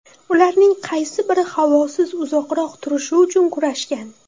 ularning qaysi biri havosiz uzoqroq turishi uchun kurashgan.